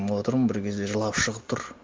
отырмын бір кезде жылап шығып тұр